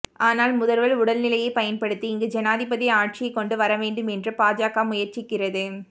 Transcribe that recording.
ஆனால் முதல்வர் உடல்நிலையை பயன்படுத்தி இங்கு ஜனாதிபதி ஆட்சியை கொண்டு வர வேண்டும் என்று பாஜக முயற்சிக்கிறது